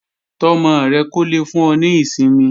Tọ́ ọmọ rẹ kó lè fún ọ ní ìsinmi